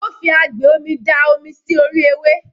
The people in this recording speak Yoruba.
Ó fi agbè omi da omi sí orí ewé.